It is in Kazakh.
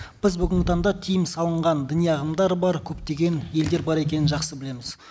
біз бүгінгі таңда тыйым салынған діни ағымдар бар көптеген елдер бар екенін жақсы білеміз